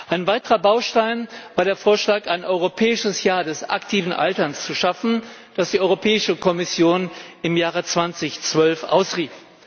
Ein weiterer Baustein war der Vorschlag, ein Europäisches Jahr des aktiven Alterns zu schaffen, das die Europäische Kommission im Jahre 2012 ausrief.